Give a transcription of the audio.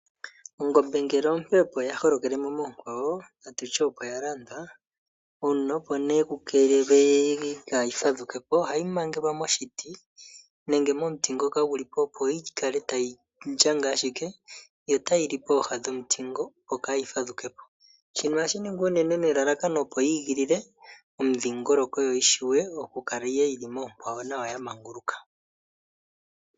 Ongombe ngele ompe opo ya holokele mo moonkwawo natutye opo ya landwa, uuna opo nee ku keelelwe kaayi fadhukepo ohayiangelwa moshiti, nenge momiti ngoka gu li po opo yi kale tayi ndjanga ashike, yo tayili pooha dhomuti ngo opo kaayi fadhukepo. Shino ohashi ningwa unene nelalakano opo yi igilile omudhingoloko opo yi shiwe oku kala yili moonkwawo nawa noya manguluka.